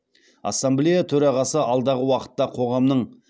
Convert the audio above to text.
ассамблея төрағасы алдағы уақытта қоғамның